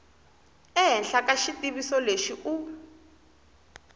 ehenhla ka xitiviso lexi u